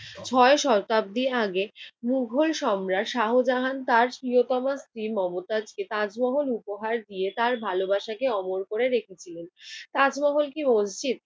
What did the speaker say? ছয় শতাব্দী আগে মোগল সম্রাট শাহজাহান তার প্রিয়তমা স্ত্রী মমতাজকে তাজমহল উপহার দিয়ে তার ভালোবাসাকে অমর করে রেখেছিলেন। তাজমহল কি মসজিদ?